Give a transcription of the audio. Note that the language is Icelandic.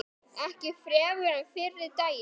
Ekki fremur en fyrri daginn.